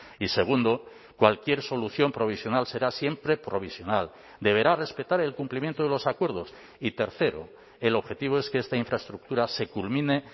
y segundo cualquier solución provisional será siempre provisional deberá respetar el cumplimiento de los acuerdos y tercero el objetivo es que esta infraestructura se culmine